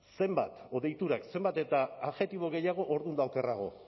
edo deiturak zenbat eta adjektibo gehiago orduan eta okerrago